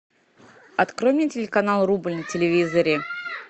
открой мне телеканал рубль на телевизоре